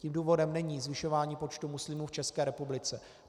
Tím důvodem není zvyšování počtu muslimů v České republice.